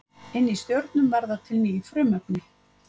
inni í stjörnum verða til ný frumefni